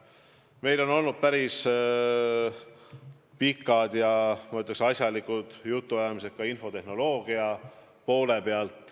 Meil on olnud päris pikad ja, ma ütleks, asjalikud jutuajamised ka infotehnoloogia teemal.